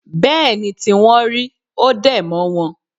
Bẹ́ẹ̀ ni tí wọ́n rí. Ó dẹ̀ mọ́ wọn